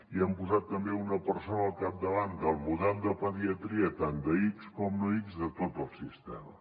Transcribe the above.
i hem posat també una persona al capdavant del model de pediatria tant d’ics com no ics de tot el sistema